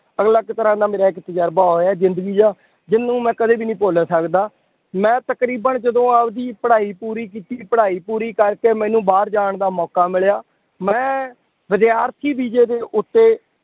ਅਲੱਗ ਤਰ੍ਹਾਂ ਦਾ ਮੇਰਾ ਇੱਕ ਤਜਰਬਾ ਹੋਇਆ ਜ਼ਿੰਦਗੀ ਦਾ ਜਿਹਨੂੰ ਮੈਂ ਕਦੇ ਵੀ ਨਹੀਂ ਭੁੱਲ ਸਕਦਾ, ਮੈਂ ਤਕਰੀਬਨ ਜਦੋਂ ਆਵਦੀ ਪੜ੍ਹਾਈ ਪੂਰੀ ਕੀਤੀ ਪੜ੍ਹਾਈ ਪੂਰੀ ਕਰਕੇ ਮੈਨੂੰ ਬਾਹਰ ਜਾਣ ਦਾ ਮੌਕਾ ਮਿਲਿਆ ਮੈਂ ਵਿਦਿਆਰਥੀ ਵੀਜ਼ੇ ਦੇ ਉੱਤੇ